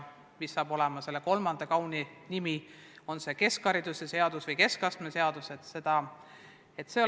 Mis saab olema selle kolmanda kauni dokumendi nimi, on see keskhariduse seadus või keskastme seadus, veel ei tea.